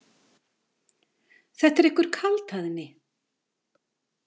Þetta er einhver kaldhæðni.